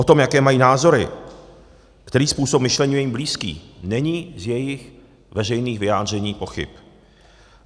O tom, jaké mají názory, který způsob myšlení je jim blízký, není z jejich veřejných vyjádření pochyb.